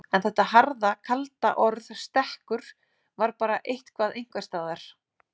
En þetta harða, kalda orð stekkur var bara eitthvað einhvers staðar.